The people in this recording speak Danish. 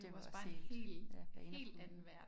Det var også helt ja banebrydende